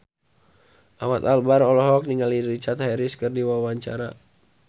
Ahmad Albar olohok ningali Richard Harris keur diwawancara